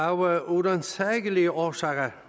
af uransagelige årsager